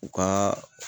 U ka